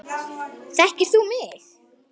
Þekkir þú mig?